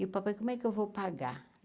E o papai, como é que eu vou pagar?